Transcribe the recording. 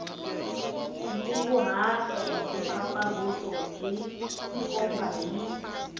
nkunguhato mpfapfarhuto byi tikomba hi